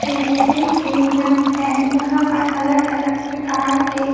तीसरी प्रीमियम है जहां पर अलग अलग प्रकार के--